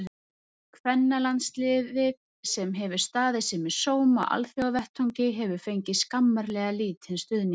Kvennalandsliðið, sem hefur staðið sig með sóma á alþjóðavettvangi, hefur fengið skammarlega lítinn stuðning.